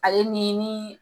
Ale nin ni